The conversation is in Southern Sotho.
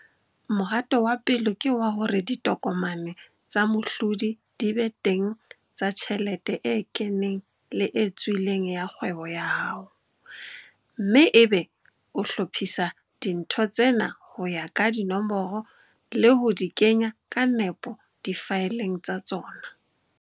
Mohato wa pele ke wa hore ditokomane tsa mohlodi di be teng tsa tjhelete e keneng le e tswileng ya kgwebo ya hao, mme ebe o hlophisa dintho tsena ho ya ka dinomoro le ho di kenya ka nepo difaeleng tsa tsona.